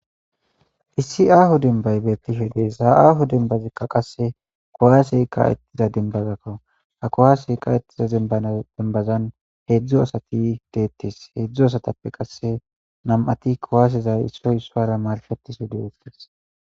issi aaho denbay beettihe dee zaa7aaho denbazikka qasse kowaasey ka ettiza dembazakkaw ha kowasey ka ettiza e dembazan heedzdzo asati deettis heedzdzu asatappe qasse nam7ati kowaasezay issoy issuara marfetisu deettis